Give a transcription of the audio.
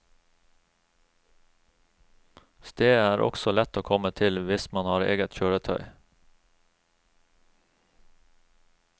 Stedet er også lett å komme til, hvis man har eget kjøretøy.